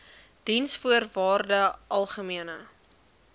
diensvoorwaardesalgemene